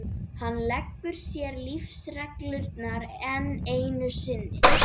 Miklaholtshreppi og héldu á öxi allmikilli og kistli útskornum.